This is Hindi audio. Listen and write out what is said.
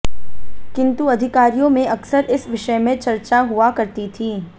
किन्तु अधिकारियों में अक्सर इस विषय में चर्चा हुआ करती थी